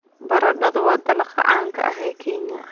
Baradhadu waa dalagga caanka ah ee Kenya.